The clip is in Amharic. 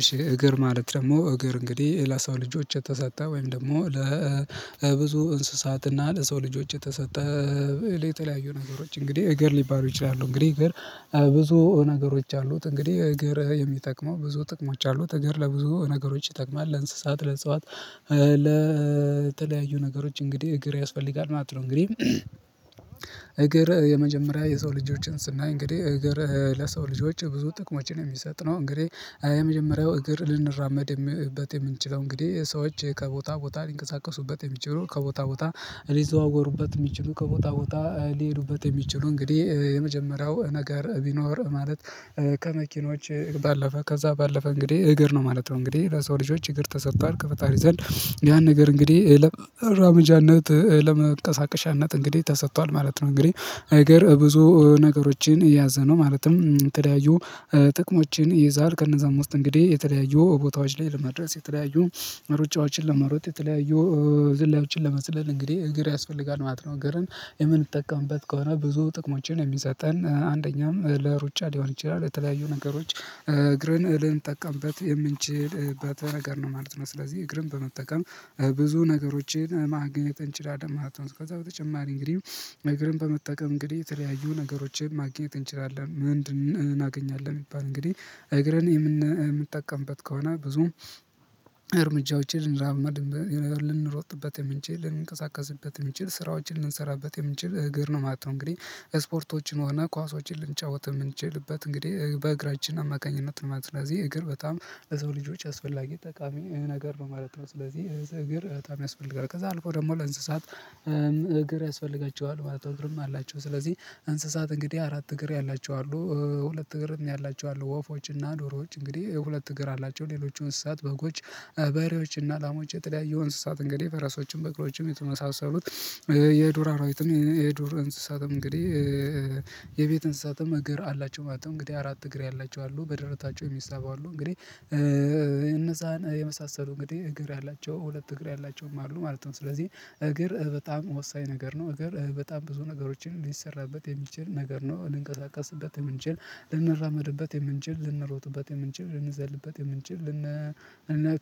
እሺ እግር ማለት ደግሞ እግር እንግዲህ ለሰው ልጆች የተሰጣ ወይም ደግሞ ለብዙ እንስሳትና ለሰው ልጆች የተሰጠ የተለያዩ ነገሮች እንግዲህ እግር ሊባሉ ይችላሉ። እንግዲህ እግር ብዙ ነገሮች አሉት እንግዲህ እግር የሚጠቅመው ብዙ ጥቅሞች አሉት እግር ለብዙ ነገሮች ይጠቅማል ለእንስሳት ለእጽዋት። ለተለያዩ ነገሮች እንግዲህ እግር ያስፈልጋል ማለት ነው። እንግዲህ እግር የመጀመሪያ የሰው ልጆችን ስናይ እንግዲህ እግር ለሰው ልጆች ብዙ ጥቅሞችን የሚሰጥ ነው ነው። እንግዲህ የመጀመሪያው እግር ልንራመድበት የምንችለው እንግዲህ ሰዎች ከቦታ ቦታ ሊንቀሳቀሱበት የሚችሉ ከቦታ ቦታ ሊዘዋወሩበት የሚችሉ ከቦታ ቦታ ሊሄዱበት የሚችሉ እንግዲህ የመጀመሪያው ነገር ቢኖር ማለት። ከመኪኖች ባለፈ ከዛ ባለፈ እንግዲህ እግር ነው ማለት ነው። እንግዲህ ለሰው ልጆች እግር ተሰጥቷል ከፈጣሪ ዘንድ ያን ነገር እንግዲህ ለመራመጃነት ለመቀሳቀሻነት እንግዲህ ተሰጥቷል ማለት ነው። እንግዲህ እግር ብዙ ነገሮችን የያዘነው ማለትም የተለያዩ ጥቅሞችን ይይዛል። ከነዛ ውስጥ እንግዲህ የተለያዩ ቦታዎች ላይ ለመድረስ የተለያዩ ሩጫዎችን ለመሮጥ የተለያዩ ዝላዮችን ለመዝለል እንግዲህ እግር ያስፈልጋል ማለት ነው። እግርን የምንጠቀምበት ከሆነ ብዙ ጥቅሞችን የሚሰጠን አንደኛም ለሩጫ ሊሆን ይችላል የተለያዩ ነገሮች እግርን ልንጠቀምበት የምንችልበት ነገር ነው ማለት ነው። ስለዚህ እግርም በመጠቀም ብዙ ነገሮችን ማግኘት እንችላለን ማለት ነው። ከዛ በተጨማሪ እንግዲህ እግርን በመጠቀም እንግዲህ የተለያዩ ነገሮችን ማግኘት እንችላለን ምንድን እናገኛለን? ቢባል እንግዲህ እግረን የምንጠቀምበት ከሆነ ብዙም እርምጃዎችን ልንራመድበት ልንሮጥበት የምንችል ልንቀሳቀስበት የምንችል ስራዎችን ልንሰራበት የምንችል እግር ነው። የማትሆነው እንግዲህ ስፖርቶችን ሆነ ኳሶችን ልንጫወት የምንችልበት እንግዲህ በእግራችን አማካኝነት ነው ማለት ነው። ስለዚህ እግር በጣም ለሰው ልጆች አስፈላጊ ጠቃሚ ይሄ ነገር ነው ማለት ነው። ስለዚህ እግር በጣም ያስፈልጋል ከዛ አልኩት ደግሞ ለእንስሳት እግር ያስፈልጋቸዋል ማለት ነው። እግርም አላቸው ስለዚህ እንስሳት እንግዲህ አራት እግር ያላቸዋሉ። ሁለት እግር ያላቸው አሉ ወፎች እና ዶሮዎች እንግዲህ ሁለት እግር አላቸው። ሌሎች እንስሳት በጎች በሬዎች እና ላሞች የተለያዩ እንስሳት እንግዲህ ፈረሶችም በቅሎወችምም የተመሳሰሉት። የዱር አራዊት የዱር እንስሳትም እንግዲህ የቤት እንስሳትም እግር አላቸው ማለት ነው። እንግዲህ አራት እግር ያላቸው አሉ በደረታቸው የሚሰበው አሉ እንግዲህ እነዛን የመሳሰሉ እንግዲህ እግር ያላቸው ሁለት እግር ያላቸውም አሉ ማለት ነው። ስለዚህ እግር በጣም ወሳኝ ነገር ነው እግር በጣም ብዙ ነገሮችን ሊሰራበት የሚችል ነገር ነው። ልንቀሳቀስበት የምንችል ልንራመድበት የምንችል ልንሮጥበት የምንችል ልንዘልበት የምንችል ልን